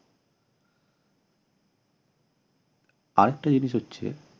আরেকটা জিনিস হচ্ছে